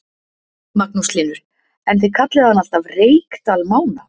Magnús Hlynur: En þið kallið hann alltaf Reykdal Mána?